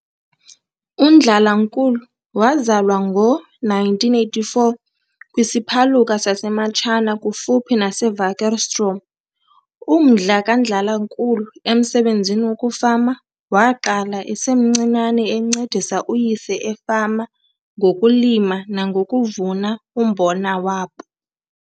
UNdlalankulu wazalwa ngo-1948 kwisiphaluka saseMatshana kufuphi naseWakkerstroom. Umdla kaNdlalankulu emsebenzini wokufama waqala esemncinane encedisa uyise efama ngokulima nangokuvuna umbona wabo.